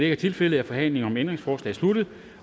er tilfældet er forhandlingen om ændringsforslaget sluttet